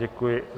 Děkuji.